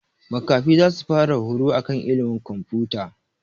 Makafi zasu fara horo akan ilimin komfuta